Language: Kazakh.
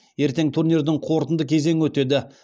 ертең турнирдің қорытынды кезеңі өтеді